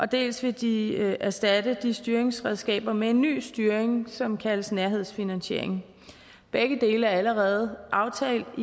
dels vil de erstatte de styringsredskaber med en ny styring som kaldes nærhedsfinansiering begge dele er allerede aftalt